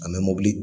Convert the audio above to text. A mɛ mɔbili